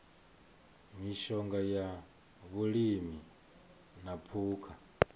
mishonga ya vhulimi na phukha